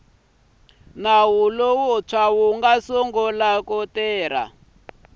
wu nga sungula ku tirha